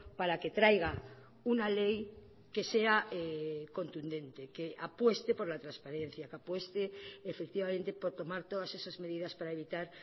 para que traiga una ley que sea contundente que apueste por la transparencia que apueste efectivamente por tomar todas esas medidas para evitar